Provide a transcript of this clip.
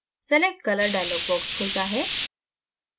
select color dialog box खुलता है